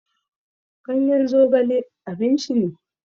Ganyen zogale abinci ne.